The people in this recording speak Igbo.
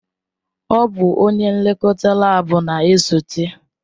Ọ bụ onye nlekọta laabu na-esote.